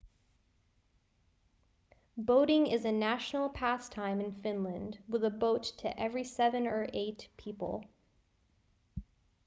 boating is a national pastime in finland with a boat to every seven or eight people